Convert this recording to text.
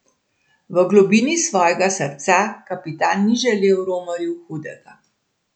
V globini svojega srca kapitan ni želel romarju hudega.